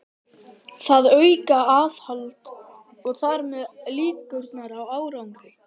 Þau auka aðhald og þar með líkurnar á árangri.